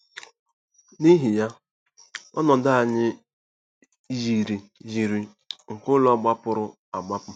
N'ihi ya, ọnọdụ anyị yiri yiri nke ụlọ gbapụrụ agbapụ.